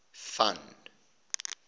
van